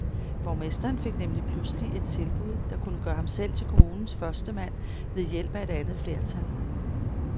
Borgmesteren fik nemlig pludselig et tilbud, der kunne gøre ham selv til kommunens førstemand ved hjælp af et andet flertal.